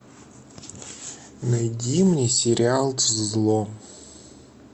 найди мне сериал зло